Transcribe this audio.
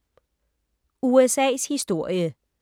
USA’s historie